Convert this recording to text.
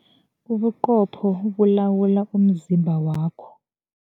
Ubuqopho bulawula umzimba wakho.